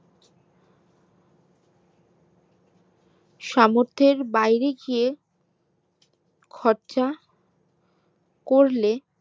সামর্থের বাইরে গিয়ে খরচা করলে